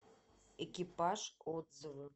экипаж отзывы